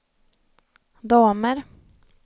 damer